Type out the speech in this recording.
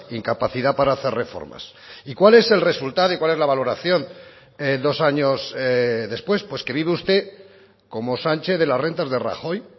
incapacidad para hacer reformas y cuál es el resultado y cuál es la valoración dos años después pues que vive usted como sánchez de las rentas de rajoy